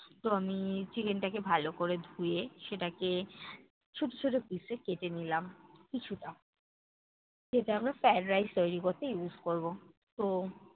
তো আমি chicken টাকে ভালো করে ধুয়ে সেটাকে ছোট ছোট piece এ কেটে নিলাম, কিছুটা। যেটা আমার fried rice তৈরী করতে use করবো। তো